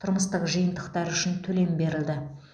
тұрмыстық жиынтықтары үшін төлем берілді